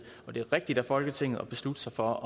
er rigtigt af folketinget at beslutte sig for